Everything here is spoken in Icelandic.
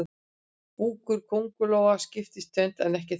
Búkur kóngulóa skiptist í tvennt en ekki þrennt.